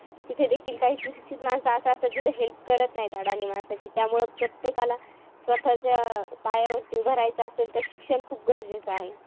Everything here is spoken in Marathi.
तिथे देखील काही सुशिक्षित माणसं अशे असतात कि जे help करत नाहीत, अडाणी माणसांची. त्यामुळे प्रत्येकाला स्वतःच्या पायावरती उभं राहायचं असेल, तर शिक्षण खूप गरजेचं आहे.